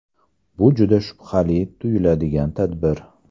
Bu juda shubhali tuyuladigan tadbir.